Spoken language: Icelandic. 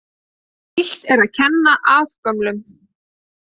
Illt er að kenna afgömlum.